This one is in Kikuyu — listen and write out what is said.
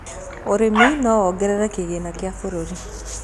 ũrĩmi no wogerere kĩgĩna gĩa bururi